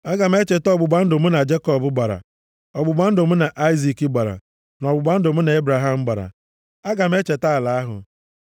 aga m echeta ọgbụgba ndụ mụ na Jekọb gbara, ọgbụgba ndụ mụ na Aịzik gbara, na ọgbụgba ndụ mụ na Ebraham gbara. Aga m echeta ala ahụ.